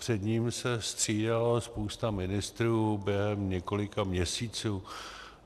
Před ním se střídalo spousta ministrů během několika měsíců.